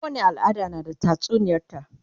kowani al'ada na da tatsuniyar ta